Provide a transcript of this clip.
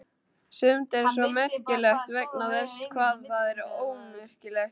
Sumt er svo merkilegt vegna þess hvað það er ómerkilegt.